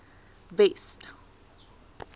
west